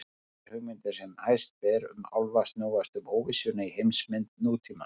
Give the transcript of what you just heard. Þær hugmyndir sem hæst ber um álfa snúast um óvissuna í heimsmynd nútímans.